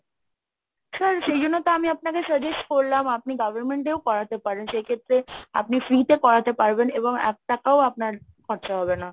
sir, সেই জন্য তো আমি আপনাকে suggest করলাম আপনি government এও করাতে পারেন সেই ক্ষেত্রে আপনি free তে করাতে পারবেন এবং এক টাকাও আপনার খরচা হবে না।